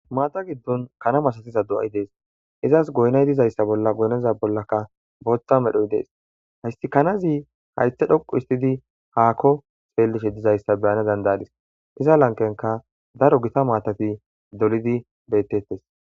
Maata giddon kana masasiza do7ay dees. Izas goynay dizayssa bolla goyneza bollaka bootha medhoy dees. Hayssi kanazi haythe dhoqu istidi haakko xxxxeellishe dizayssa beyana dandadis iza lanqqenka daro gita maatati dolidi bettettes.